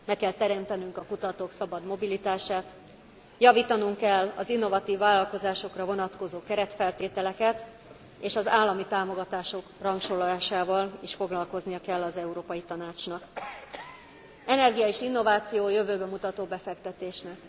Meg kell teremtenünk a kutatók szabad mobilitását, javítanunk kell az innovatív vállalkozásokra vonatkozó keretfeltételeket, és az állami támogatások rangsorolásával is foglalkoznia kell az Európai Tanácsnak. Energia és innováció jövőbe mutató befektetések.